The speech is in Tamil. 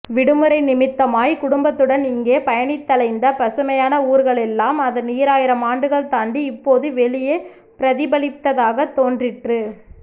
விடுமுறை நிமித்தமாய்க் குடும்பத்துடன் இங்கே பயணித்தலைந்த பசுமையான ஊர்களெல்லாம் அதன் ஈராயிரம் ஆண்டுகள் தாண்டி இப்போது வெளியே பிரதிபலிப்பதாகத் தோன்றிற்று